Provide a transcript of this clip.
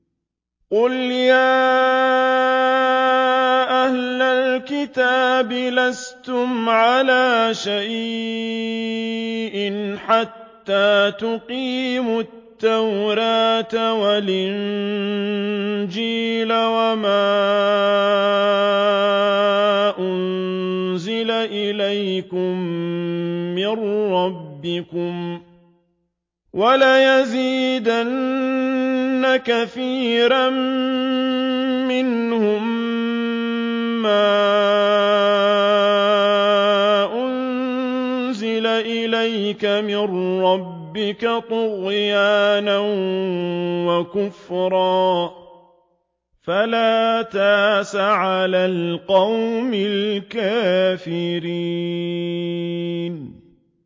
قُلْ يَا أَهْلَ الْكِتَابِ لَسْتُمْ عَلَىٰ شَيْءٍ حَتَّىٰ تُقِيمُوا التَّوْرَاةَ وَالْإِنجِيلَ وَمَا أُنزِلَ إِلَيْكُم مِّن رَّبِّكُمْ ۗ وَلَيَزِيدَنَّ كَثِيرًا مِّنْهُم مَّا أُنزِلَ إِلَيْكَ مِن رَّبِّكَ طُغْيَانًا وَكُفْرًا ۖ فَلَا تَأْسَ عَلَى الْقَوْمِ الْكَافِرِينَ